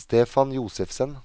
Stefan Josefsen